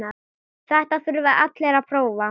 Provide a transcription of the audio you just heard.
Þetta þurfa allir að prófa.